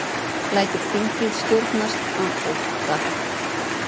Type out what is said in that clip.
Lætur þingið stjórnast af ótta